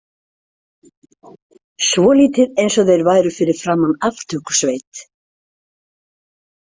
Svolítið eins og þeir væru fyrir framan aftökusveit.